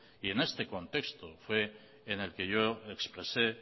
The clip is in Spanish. y en este contexto fue en el que yo expresé